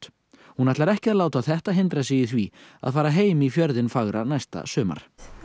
hún ætlar ekki að láta þetta hindra sig í því að fara heim í fjörðinn fagra næsta sumar nei